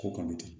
Ko kɔni tɛ